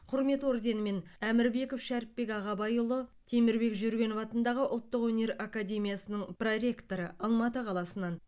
құрмет орденімен әмірбеков шәріпбек ағабайұлы темірбек жүргенов атындағы ұлттық өнер академиясының проректоры алматы қаласынан